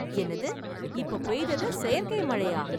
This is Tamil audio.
என்னது ! இப்ப பெய்தது , செயற்கை மழையா ?